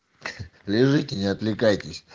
лежите не отвлекайтесь